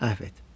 Əfv et.